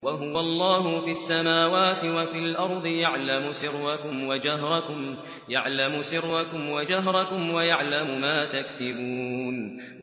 وَهُوَ اللَّهُ فِي السَّمَاوَاتِ وَفِي الْأَرْضِ ۖ يَعْلَمُ سِرَّكُمْ وَجَهْرَكُمْ وَيَعْلَمُ مَا تَكْسِبُونَ